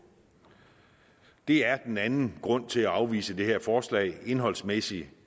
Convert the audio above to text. det er den anden grund til at afvise det her forslag indholdsmæssigt